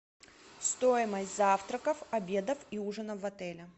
стоимость завтраков обедов и ужинов в отеле